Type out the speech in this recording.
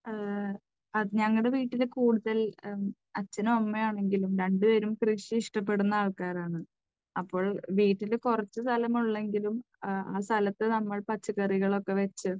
അത് ഞങ്ങളുടെ വീട്ടിലും കൂടുതൽ അച്ഛനും അമ്മയും ആണെങ്കിലും രണ്ടുപേരും കൃഷി ഇഷ്ടപ്പെടുന്ന ആൾക്കാരാണ്. അപ്പോൾ വീട്ടിൽ കുറച്ച് സ്ഥലമേ ഉള്ളൂവെങ്കിലും ആ സ്ഥലത്ത് നമ്മൾ പച്ചക്കറികളൊക്കെ വെച്ച്